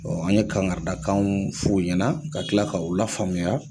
Bɔn an ye kankarida kanw f'u ɲɛna ka tila k'aw la faamuya.